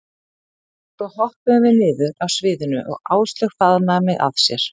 Svo hoppuðum við niður af sviðinu og Áslaug faðmaði mig að sér.